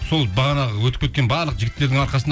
сол бағанағы өтіп барлық кеткен жігіттерді арқасында